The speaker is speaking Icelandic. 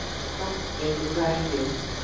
Samt gengur það ekki upp.